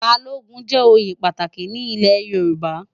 Bálógùn jè óyé pàtáki ni ilè Yoruba